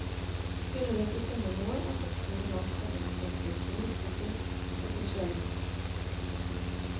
Skulle vi ikke finne noe, er soppturen langtfra bortkastet, som luftetur og til sjelebot.